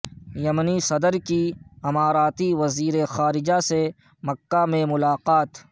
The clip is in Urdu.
یمنی صدر کی اماراتی وزیر خارجہ سے مکہ میں ملاقات